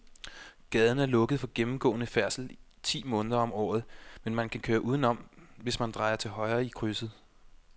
Gaden er lukket for gennemgående færdsel ti måneder om året, men man kan køre udenom, hvis man drejer til højre i krydset.